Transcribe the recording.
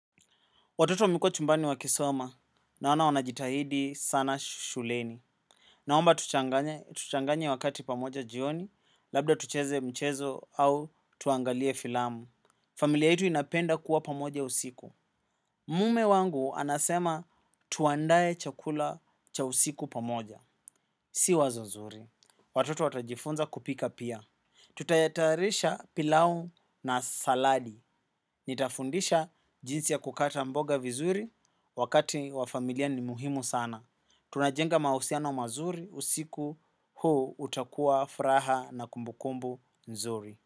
Watoto wamekuwa chumbani wa kisoma naona wanajitahidi sana shuleni. Naomba tuchanganye wakati pamoja jioni, labda tucheze mchezo au tuangalie filamu. Familia yetu inapenda kuwa pamoja usiku. Mume wangu anasema tuandae chakula cha usiku pamoja. Si wazo zuri. Watoto watajifunza kupika pia. Tutayatarisha pilau na saladi. Nitafundisha jinsi ya kukata mboga vizuri wakati wa familia ni muhimu sana. Tunajenga mahusiano mazuri usiku huu utakuwa furaha na kumbukumbu nzuri.